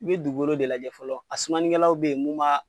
I be dugukolo de lajɛ fɔlɔ, a sumanikɛlaw be yen mun b'a